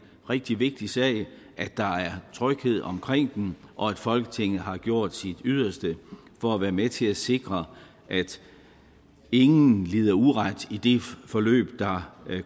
rigtig vigtig sag at der er tryghed omkring dem og at folketinget har gjort sit yderste for at være med til at sikre at ingen lider uret i det forløb der